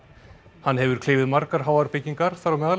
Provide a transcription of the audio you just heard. hann hefur klifið margar háar byggingar þar á meðal